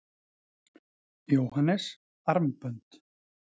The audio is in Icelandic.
Jóhannes: Armbönd?